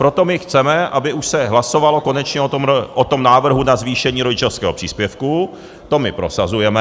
Proto my chceme, aby už se hlasovalo konečně o tom návrhu na zvýšení rodičovského příspěvku, to my prosazujeme.